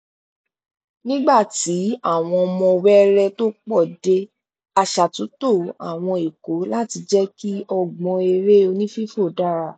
nígbà tí àwọn ọmọ wẹẹrẹẹ tó pọ dé a ṣàtúntò àwọn ikọ láti jẹ kí ọgbọn eré onífífò dára